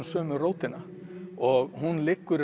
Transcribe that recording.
sömu rótina og hún liggur